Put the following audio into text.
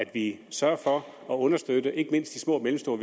vi sørger for at understøtte ikke mindst de små og mellemstore